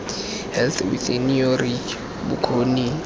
health within your reach bokgoni